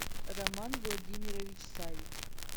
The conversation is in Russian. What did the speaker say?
роман владимирович савич